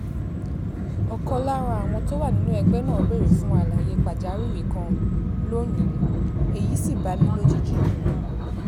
ọ̀kan lára àwọn tó wà nínú ẹgbẹ́ náà béèrè fún àlàyé pàjáwìrì kan lónìí èyí sì bá mi lójijì